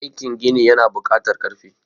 aikin gini yana bukatar karfi